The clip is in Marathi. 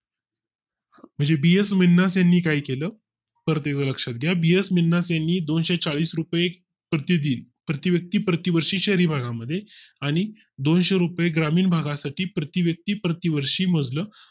म्हणजे BS मिना से नी काही केलं तर तेवढ लक्षात घेऊन BS मिना ने यांनी दोनशेचाळीस रुपये प्रति दिन प्रति व्यक्ती प्रति वर्षी शहरी भागा मध्ये आणि दोनशे रुपये ग्रामीण भागा साठी प्रति व्यक्ती प्रति वर्षी मधलं